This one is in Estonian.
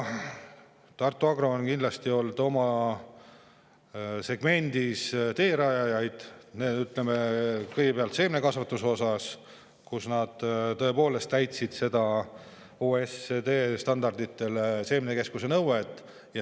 Tartu Agro on kindlasti olnud oma segmendis üks teerajajaid, kõigepealt seemnekasvatuses, kui nad tõepoolest täitsid OECD standardile vastava seemnekeskuse.